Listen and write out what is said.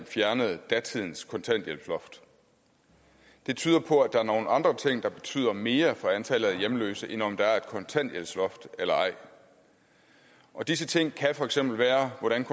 fjernede datidens kontanthjælpsloft det tyder på at der er nogle andre ting der betyder mere for antallet af hjemløse end om der er et kontanthjælpsloft eller ej disse ting kan for eksempel være hvordan